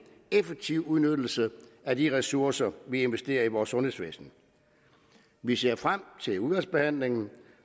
effektiv udnyttelse af de ressourcer vi investerer i vores sundhedsvæsen vi ser frem til udvalgsbehandlingen